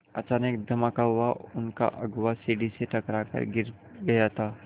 अचानक एक धमाका हुआ उनका अगुआ सीढ़ी से टकरा कर गिर गया था